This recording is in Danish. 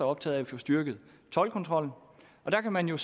optaget af at få styrket toldkontrollen og der kan man jo